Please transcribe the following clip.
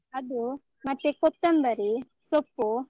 ಅದು, ಮತ್ತೆ ಕೊತ್ತಂಬರಿ, ಸೊಪ್ಪು.